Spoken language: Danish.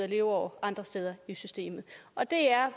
leveår andre steder i systemet og det er